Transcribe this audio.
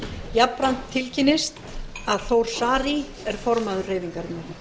jafnframt tilkynnist að þór saari er formaður hreyfingarinnar